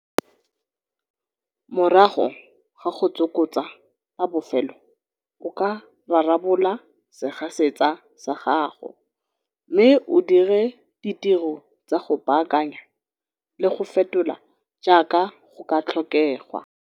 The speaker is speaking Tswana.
Morago ga go tsokotsa la bofelo o ka rarabola segasetsa sa gago mme o dire ditiro tsa go baakanya le go fetola jaaka go ka tlhokegwa.